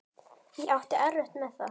Ég átti erfitt með það.